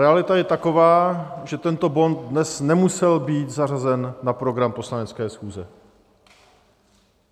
Realita je taková, že tento bod dnes nemusel být zařazen na program poslanecké schůze.